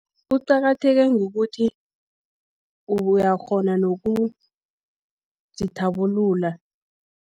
Kuqakatheke ngokuthi, uyakghona nokuzithabulula.